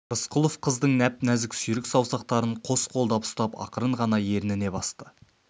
рысқұлов қыздың нәп-нәзік сүйрік саусақтарын қос қолдап ұстап ақырын ғана ерніне басты